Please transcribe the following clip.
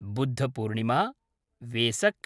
Buddha Purnima Vesak